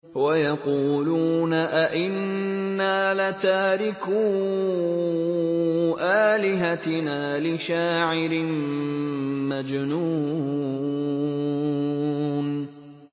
وَيَقُولُونَ أَئِنَّا لَتَارِكُو آلِهَتِنَا لِشَاعِرٍ مَّجْنُونٍ